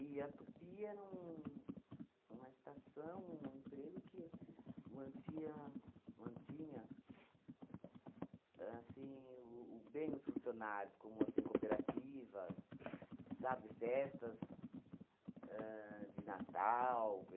a Tupi era um uma estação, um emprego que mantia mantinha assim o o bem os funcionários, como assim cooperativas, sabe, festas ahn de Natal.